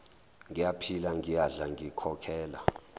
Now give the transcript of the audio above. ngiyaphila ngiyadla ngikhokhela